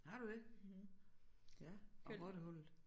Har du det ja og rottehullet